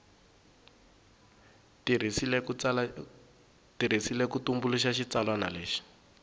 tirhisiwile ku tumbuluxa xitsalwana lexi